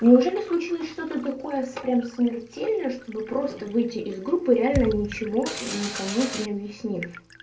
неужели случилось что-то такое с прямо смертельное чтобы просто выйти из группы реально ничему никому не объяснив